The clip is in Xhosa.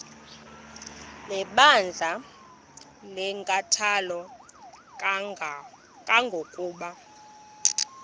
lebandla linenkathalo kangangokuba